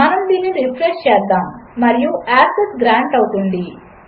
మనముదీనినిరిఫ్రెష్చేద్దాముమరియు access గ్రాంట్అవుతుంది